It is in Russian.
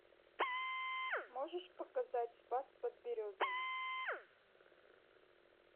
можешь показать спас под березами